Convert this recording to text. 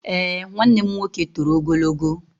Eé, nwanne m nwoke toro ogologo.